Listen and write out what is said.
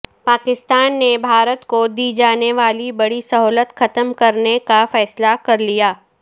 پاکستان نے بھارت کو دی جانیوالی بڑی سہولت ختم کرنے کا فیصلہ کرلیا